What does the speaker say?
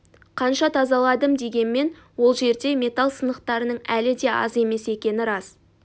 қанша тазаладым дегенмен ол жерде металл сынықтарының әлі де аз емес екені рас